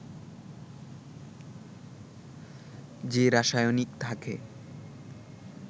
যে রাসায়নিক থাকে